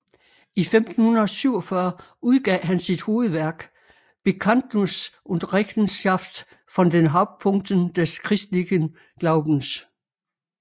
I 1547 udgav han sit hovedværk Bekandtnus und Rechenschaft von den Hauptpunkten des christlichen Glaubens